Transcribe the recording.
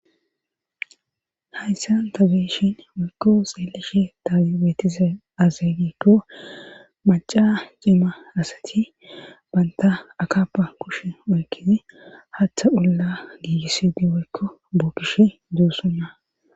Hayssan tabeeshin woykko xeelishi taagi beetiza azegiikko maca ceema asati banta akapa kush oykkisi hatha ulla giigisidi waykko buukish duussunna